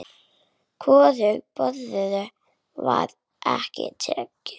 Hvorugu boðinu var þá tekið.